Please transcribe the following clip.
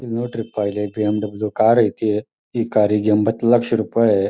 ಇಲ್ ನೋಡ್ರಿಪ ಇಲ್ಲೆ ಬಿ.ಎಂ.ಡಬ್ಲ್ಯೂ. ಕಾರ ಐತಿ ಈ ಕಾರಿಗ್ ಎಂಬತ್ತು ಲಕ್ಷ ರುಪಾಯಿ.